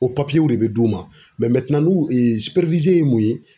O w de be d'u ma, n'u ye mun ye?